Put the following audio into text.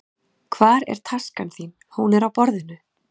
Hvar er taskan þín? Hún er á borðinu.